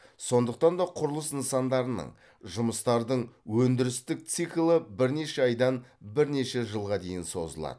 сондықтан да құрылыс нысандарының жұмыстардың өндірістік циклі бірнеше айдан бірнеше жылға дейін созылады